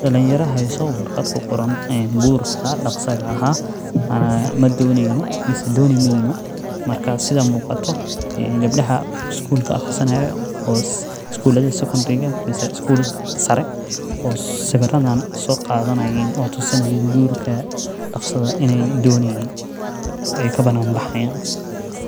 Dalin yara hayso warqad ku qoran gurka daqasaga ah micna ahan doni meyno marka sitha muqato geebdaha isgulka aqrisanayo isgulaha secodariga mase isgulaha sare oo sawiradan soqadanayin oo tusinayin gurka daqsiga eh ini doneyni ee kabanan baxayan.